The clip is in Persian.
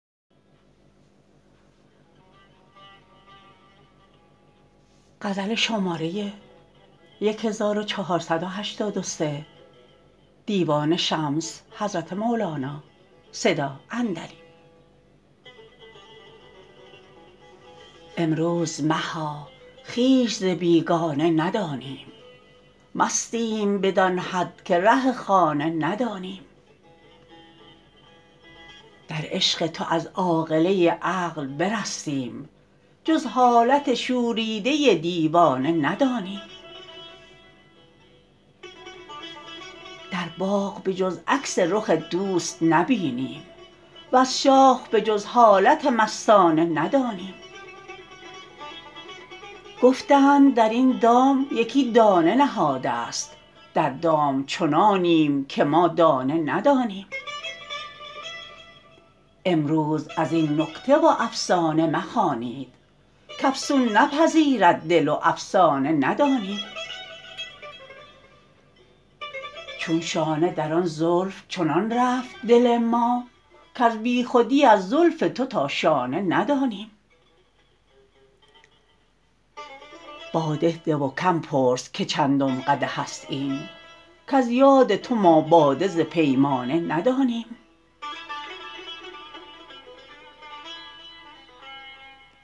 امروز مها خویش ز بیگانه ندانیم مستیم بدان حد که ره خانه ندانیم در عشق تو از عاقله عقل برستیم جز حالت شوریده دیوانه ندانیم در باغ به جز عکس رخ دوست نبینیم وز شاخ به جز حالت مستانه ندانیم گفتند در این دام یکی دانه نهاده ست در دام چنانیم که ما دانه ندانیم امروز از این نکته و افسانه مخوانید کافسون نپذیرد دل و افسانه ندانیم چون شانه در آن زلف چنان رفت دل ما کز بیخودی از زلف تو تا شانه ندانیم باده ده و کم پرس که چندم قدح است این کز یاد تو ما باده ز پیمانه ندانیم